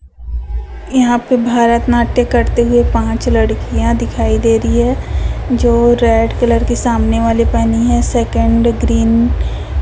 यहां पे भरतनाट्यम करते हुए पांच लड़कियां दिखाई दे रही है जो रेड कलर के सामने वाली पहनी है सेकंड ग्रीन --